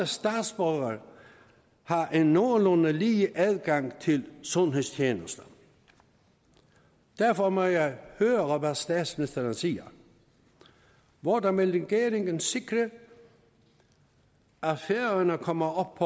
statsborgere har en nogenlunde lige adgang til sundhedstjenester derfor må jeg høre hvad statsministeren siger hvordan vil regeringen sikre at færøerne kommer op